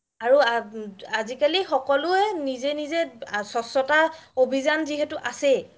আৰু আজিকালি সকলোৱে নিজে নিজে স্বাস্থ্যতা অভিযান যিহেতু আছেই